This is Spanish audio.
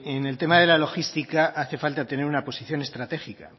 en el tema de la logística hace falta tener una posición estratégica